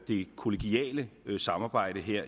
det kollegiale samarbejde her